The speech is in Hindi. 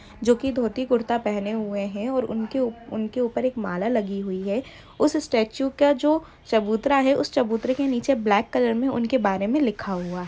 जोकि धोती कुरता पहने हुए है और उनके उप-उपर एक माला लगी हुई है और उस स्टेचू का जो चबूतरा है उस चबूतरे के नीचे ब्लैक कलर में उनके बारे में लिखा हुआ है।